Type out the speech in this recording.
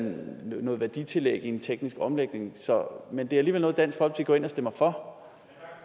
noget værditillæg i en teknisk omlægning men det er alligevel noget som dansk folkeparti stemmer for